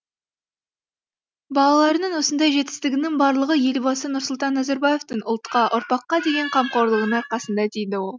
балаларының осындай жетістігінің барлығы елбасы нұрсұлтан назарбаевтың ұлтқа ұрпаққа деген қамқорлығының арқасында дейді ол